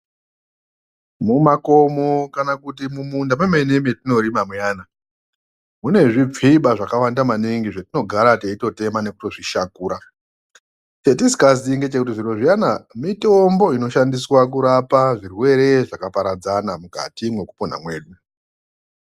Mumakomo kana kuti mumunda mwemene mwatinorima muyana munezvipfiba zvakawanda maningi zvatinogara teitotema nekuzvishakura chatisingaziyi ngechekuti zviro zviyana mitombo inoshandiswe kurapa zvirwere zvakaparadzana mukati mwekupona kwedu.